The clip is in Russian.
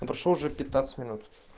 и прошло уже пятнадцать минут